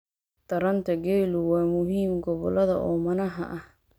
Taranta geelu waa muhiim gobolada oomanaha ah.